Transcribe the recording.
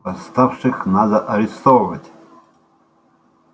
восставших надо арестовывать